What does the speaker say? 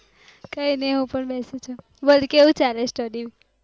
કઈ ની હું પણ બેધી છુ, બોલ કેવું ચાલે study